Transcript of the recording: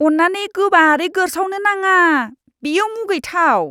अन्नानै गोबारै गोरसावनो नाङा, बेयो मुगैथाव!